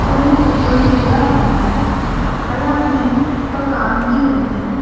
కొన్ని బుగ్గలు కూడా ఉన్నాయ్ అలానే ఒక కాంతి ఉంది.